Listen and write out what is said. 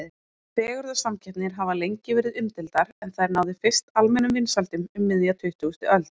Fegurðarsamkeppnir hafa lengi verið umdeildar en þær náðu fyrst almennum vinsældum um miðja tuttugustu öld.